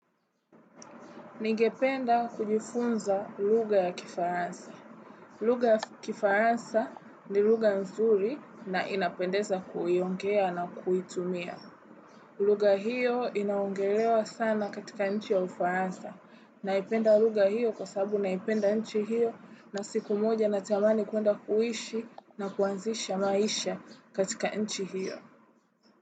Ningependa kujifunza luga ya kifaransa. Luga ya kifaransa ni luga mzuri na inapendeza kuiongea na kuitumia. Luga hiyo inaongelewa sana katika nchi ya ufaransa. Naipenda luga hiyo kwa sabu naipenda nchi hiyo na siku moja natamani kuenda kuishi na kuanzisha maisha katika nchi hiyo.